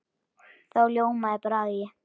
Þá ljómaði Bragi.